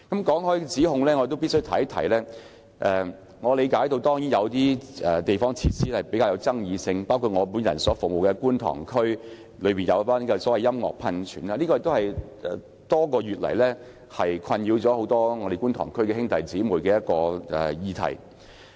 關於有關指控，我理解某些地方設施比較具爭議性，包括我服務的觀塘區興建音樂噴泉的建議，這也是多個月以來，困擾很多觀塘區議員的議題。